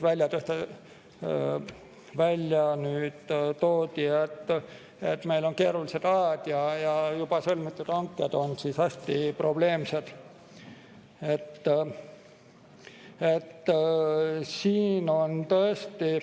Toodi välja, et meil on keerulised ajad ja juba sõlmitud hanked on hästi probleemsed.